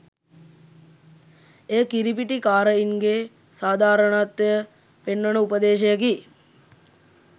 එය කිරිපිටි කාරයින්ගේ සාධාරණත්වය පෙන්වන උපදේශයකි.